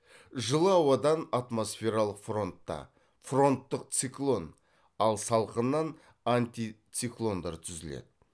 жылы ауадан атмосфералық фронтта фронттық циклон ал салқыннан антициклондар түзіледі